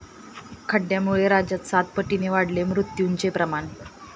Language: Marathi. खड्ड्यांमुळे राज्यात सातपटींनी वाढले मृत्यूचे प्रमाण